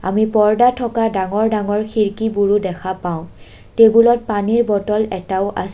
আমি পৰ্দাত থকা ডাঙৰ ডাঙৰ খিৰকীবোৰো দেখা পাওঁ টেবুল পানীৰ বটল এটাও আছ--